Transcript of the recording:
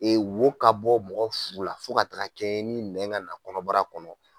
wo ka bɔ mɔgɔ furu la fo ka taga kɛɛ ni nɛn ŋa na kɔnɔbara kɔnɔ